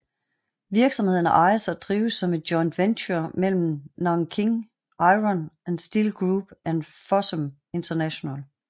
Virksomheden ejes og drives som et joint venture mellem Nanjing Iron and Steel Group og Fosun International